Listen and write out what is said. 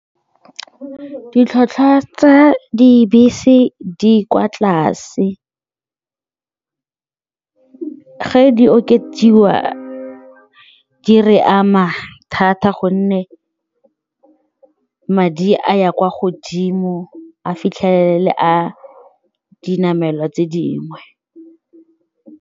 Ditlhwatlhwa tsa dibese di kwa tlase, ge di okediwa di re ama thata gonne madi a ya kwa godimo a fitlhelele a dinamelwa tse dingwe.